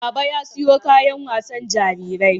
Baba ya siyo wasu kayan wasan jarirai